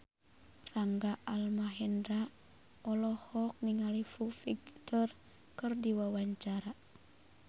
Rangga Almahendra olohok ningali Foo Fighter keur diwawancara